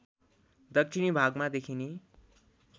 दक्षिणी भागमा देखिने